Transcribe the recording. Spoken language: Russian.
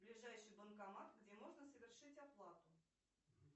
ближайший банкомат где можно совершить оплату